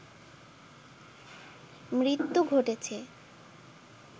মৃত্যু ঘটেছে